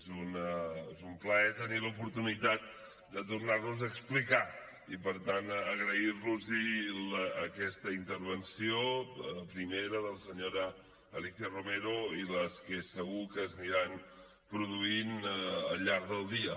és un plaer tenir l’oportunitat de tornar nos a explicar i per tant agrair los aquesta intervenció primera de la senyora alícia romero i les que segur que s’aniran produint al llarg del dia